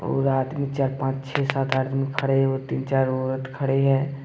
और आदमी चार पांच छह सात आदमी खड़े हैं तीन चार औरत खड़े हैं।